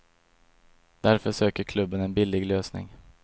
Därför söker klubben en billig lösning.